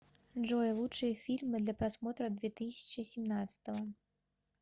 джой лучшие фильмы для просмотра две тысячи семнадцатого